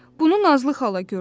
Bunu Nazlı xala gördü.